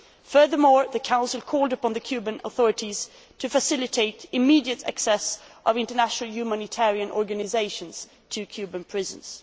Furthermore, the Council called upon the Cuban authorities to facilitate immediate access of international humanitarian organisations to Cuban prisons.